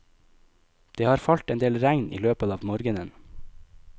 Det har falt en del regn i løpet av morgenen.